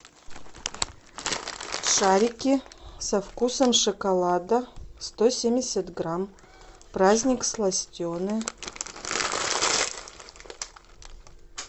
шарики со вкусом шоколада сто семьдесят грамм праздник сластены